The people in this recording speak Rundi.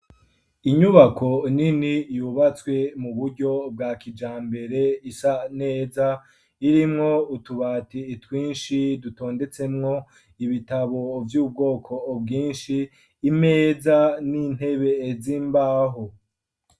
Inyubako nini yubatswe mu buryo bwa kija mbere isa neza irimwo utubati itwinshi dutondetsemwo ibitabo vy'ubwoko ubwinshi imeza ,n'intebe ezimbaho.